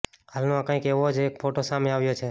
હાલમાં કંઈક આવો જ એક ફોટો સામે આવ્યો છે